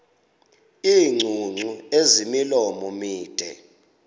iingcungcu ezimilomo mide